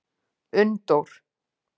Unndór